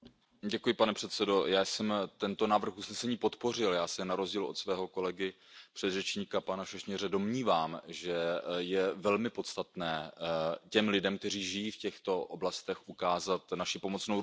Pane předsedající, já jsem tento návrh usnesení podpořil, já se na rozdíl od svého kolegy a předřečníka, pana Sośnierze, domnívám, že je velmi podstatné těm lidem, kteří žijí v těchto oblastech, ukázat naši pomocnou ruku.